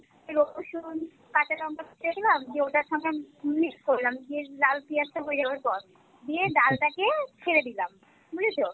রসুন কাঁচা লংকা দিয়েছিলাম দিয়ে ওটার সঙ্গে mix করলাম দিয়ে লাল পেঁয়াজটা হয়ে যাওয়ার পর দিয়ে ডালটাকে ফেলে দিলাম বুঝেছো